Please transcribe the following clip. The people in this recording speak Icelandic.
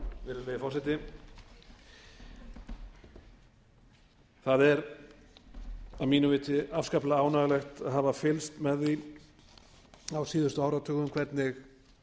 virðulegi forseti það er að mínu viti afskaplega ánægjulegt að hafa fylgst með því á síðustu áratugum hvernig